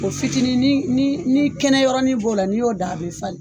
fitiinin ni ni ni kɛnɛ yɔrɔin b'o la ni y'o da a bɛ falen.